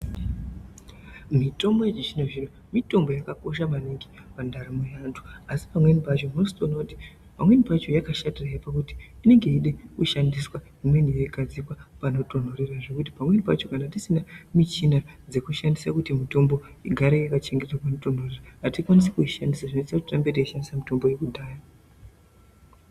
Mitombo yechizvino zvino mitombo yakakosha maningi pandaramo yevantu asi pamweni pacho unotozoona kuti pamweni pacho yakashatire pakuti inenge yeide kushandiswa imweni yeigadzikwa panotonhorera zvekuti pamweni pacho kana tisina michina dzekushandisa kuti mitombo igare yakachengetwa panotonhorera atikwanisi kuishandisa zvinoite kuti tirambe teishandise mitombo yekudhaya.